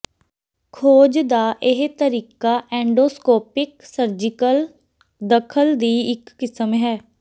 ਖੋਜ ਦਾ ਇਹ ਤਰੀਕਾ ਐਂਡੋਸਕੋਪਿਕ ਸਰਜੀਕਲ ਦਖਲ ਦੀ ਇੱਕ ਕਿਸਮ ਹੈ